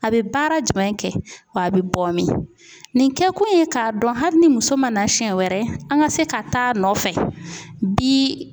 A bɛ baara jumɛn kɛ wa a bɛ bɔ min nin kɛ ko ye k'a dɔn hali ni muso ma na siɲɛ wɛrɛ an ka se ka taa nɔfɛ bi.